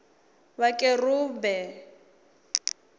vhakerumbe